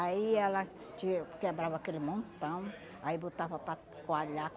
ela ti quebrava aquele montão, aí botava para coalhar.